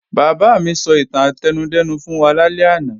Bàbá mi sọ ìtàn átẹnudẹ́nu fún wa lálẹ́ àná